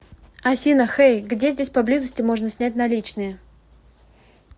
афина хэй где здесь поблизости можно снять наличные